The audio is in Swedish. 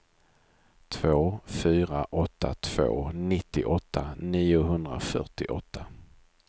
två fyra åtta två nittioåtta niohundrafyrtioåtta